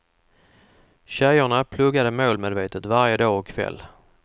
Tjejerna pluggade målmedvetet varje dag och kväll.